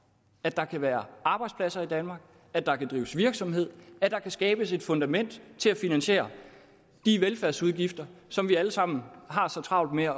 at der kan være arbejdspladser i danmark at der kan drives virksomhed at der kan skabes et fundament til at finansiere de velfærdsudgifter som vi alle sammen har så travlt med at